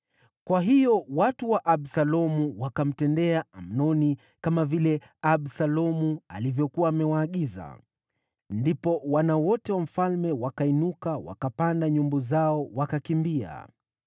Kwa hiyo watu wa Absalomu wakamtendea Amnoni kama vile Absalomu alivyokuwa amewaagiza. Ndipo wana wote wa mfalme wakainuka, wakapanda nyumbu zao, wakakimbia.